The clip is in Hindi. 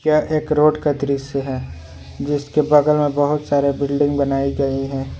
यह एक रोड का दृश्य है जिसके बगल में बहुत सारे बिल्डिंग बनाई गई हैं।